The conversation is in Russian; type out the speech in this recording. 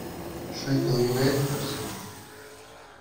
шеффилд юнайтед арсенал